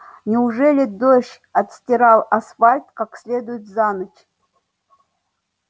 неужели дождь отстирал асфальт как следует за ночь